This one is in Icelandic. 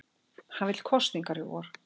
Hann vill kosningar í vor